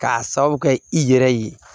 K'a sabu kɛ i yɛrɛ ye